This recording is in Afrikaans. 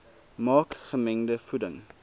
maak gemengde voeding